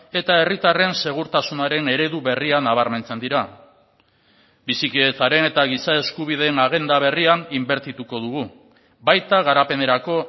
eta herritarren segurtasunaren eredu berria nabarmentzen dira bizikidetzaren eta giza eskubideen agenda berrian inbertituko dugu baita garapenerako